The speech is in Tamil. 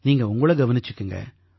நீங்க உங்களை கவனிச்சுக்குங்க